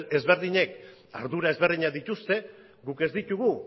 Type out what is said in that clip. ezberdinek ardura ezberdina dituzte guk ez ditugu